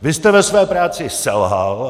Vy jste ve své práci selhal.